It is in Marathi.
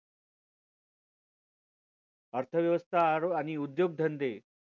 अर्थवेवस्था आणि उद्योगधंदे